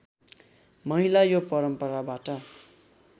महिला यो परम्पराबाट